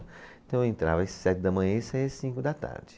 Então eu entrava às sete da manhã e saía às cinco da tarde.